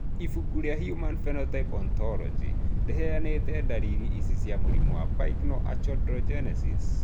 Ibuku rĩa Human Phenotype Ontology rĩheanĩte ndariri ici cia mũrimũ wa Pyknoachondrogenesis.